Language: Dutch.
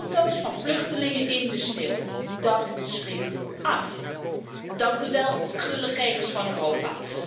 Foto's van vluchtelingen in de sneeuw, dat schrikt af! Dank u wel, gulle gevers van Europa.